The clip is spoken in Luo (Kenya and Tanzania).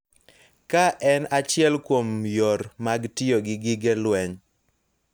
Ka en achiel kuom yore mag tiyo gi gige lweny